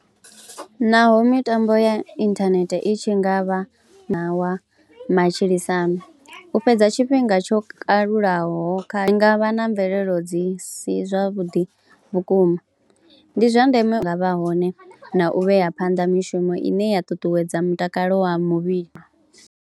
Naho mitambo ya inthanethe i tshi nga vha na wa matshilisano u fhedza tshifhinga tsho kalulaho kha, zwi nga vha na mvelelo dzi si zwavhuḓi vhukuma, ndi zwa ndeme nga vha hone na u vhea phanḓa mishumo ine ya ṱuṱuwedza mutakalo wa muvhili.